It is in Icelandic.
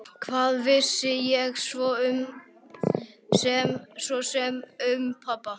Hvað vissi ég svo sem um pabba?